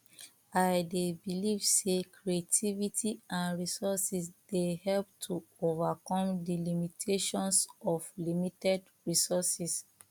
i dey believe say creativity and resources dey help to overcome di limitations of limited resources